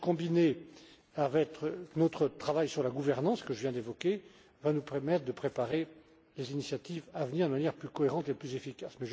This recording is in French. démarche, combinée avec notre travail sur la gouvernance que je viens d'évoquer va nous permettre de préparer les initiatives à venir de manière plus cohérente et plus efficace.